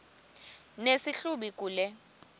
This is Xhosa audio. nesi hlubi kule